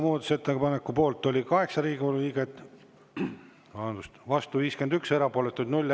Muudatusettepaneku poolt oli 8 Riigikogu liiget, vastu 51, erapooletuid 0.